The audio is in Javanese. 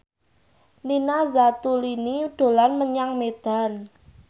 Nina Zatulini dolan menyang Medan